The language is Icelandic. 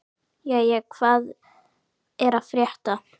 Jæja, hvað er að frétta?